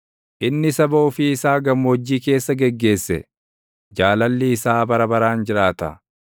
inni saba ofii isaa gammoojjii keessa geggeesse; Jaalalli isaa bara baraan jiraata.